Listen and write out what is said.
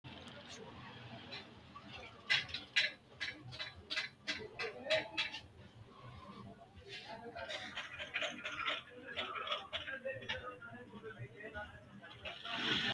Konninnino sao babbaxxitino atletiksete ispoorte qixxaawora techo geeshsha su’misi ka”anni hee’ranno Konninnino sao babbaxxitino atletiksete ispoorte qixxaawora techo geeshsha su’misi.